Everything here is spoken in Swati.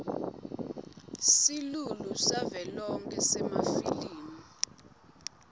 silulu savelonkhe semafilimu